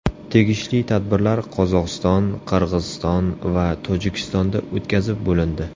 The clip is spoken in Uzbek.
Tegishli tadbirlar Qozog‘iston, Qirg‘iziston va Tojikistonda o‘tkazib bo‘lindi.